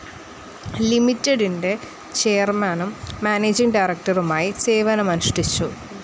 ലിമിറ്റിഡിന്റെ ചെയർമാനും മാനേജിങ്‌ ഡയറക്ടറുമായി സേവനമനുഷ്ഠിച്ചു.